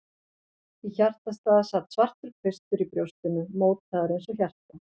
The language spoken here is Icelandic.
Í hjartastað sat svartur kvistur í brjóstinu, mótaður eins og hjarta.